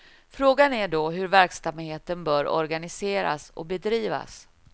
Frågan är då hur verksamheten bör organiseras och bedrivas.